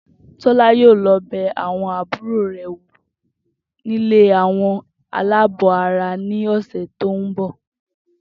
Tó̩lá yóò lo̩ be̩ àbúrò re̩ wo nílé àwo̩n aláàbò ara ní òsè̩ tó ń bò̩